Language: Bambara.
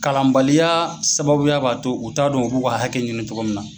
Kalan baliya sababuya b'a to u t'a dɔn u b'u ka hakɛ ɲini cogo min na.